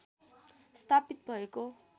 स्थापित भएको